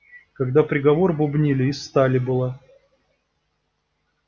когда приговор бубнили из стали была